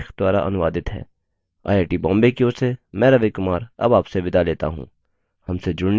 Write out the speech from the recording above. यह स्क्रिप्ट सकीना शेख द्वारा अनुवादित है आईआई टी बॉम्बे की ओर से मैं रवि कुमार अब आपसे विदा लेता हूँ